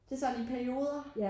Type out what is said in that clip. Det sådan i perioder